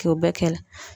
K'o bɛɛ kɛ